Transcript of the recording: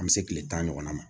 An bɛ se tile tan ɲɔgɔnna ma